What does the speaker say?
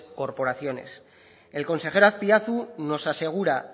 corporaciones el consejero azpiazu nos asegura